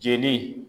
Jeli